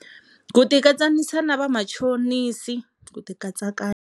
Ku tikatsanisa na vamachonisi ku tikatsakanya.